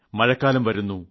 മഴക്കാലം വരുന്നു